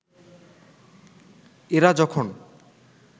এরা যখন